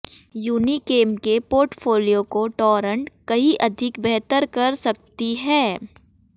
Unichem के portfolio को Torrent कहीं अधिक बेहतर कर सकती है